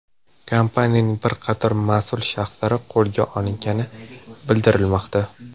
Kompaniyaning bir qator mas’ul shaxslari qo‘lga olingani bildirilmoqda.